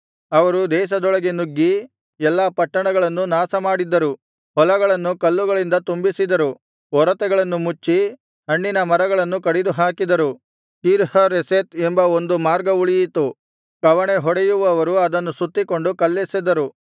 ಅವರು ದೇಶದೊಳಗೆ ನುಗ್ಗಿ ಎಲ್ಲಾ ಪಟ್ಟಣಗಳನ್ನು ನಾಶಮಾಡಿದ್ದರು ಹೊಲಗಳನ್ನು ಕಲ್ಲುಗಳಿಂದ ತುಂಬಿಸಿದರು ಒರತೆಗಳನ್ನು ಮುಚ್ಚಿ ಹಣ್ಣಿನ ಮರಗಳನ್ನು ಕಡಿದುಹಾಕಿದರು ಕೀರ್ಹರೆಷೆತ್ ಎಂಬ ಒಂದು ಮಾರ್ಗ ಉಳಿಯಿತು ಕವಣೆಹೊಡೆಯುವವರು ಅದನ್ನು ಸುತ್ತಿಕೊಂಡು ಕಲ್ಲೆಸೆದರು